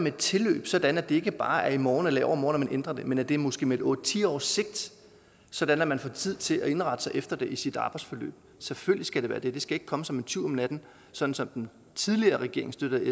et tilløb sådan at det ikke bare er i morgen eller i overmorgen at man ændrer det men at det måske er med et otte ti års sigt sådan at man får tid til at indrette sig efter det i sit arbejdsforløb selvfølgelig skal det være det det skal ikke komme som en tyv om natten sådan som den tidligere regering støttet